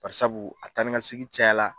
Barisabu a taa ni ka segin cayara